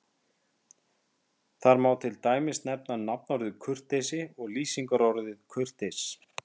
Þar má til dæmis nefna nafnorðið kurteisi og lýsingarorðið kurteis.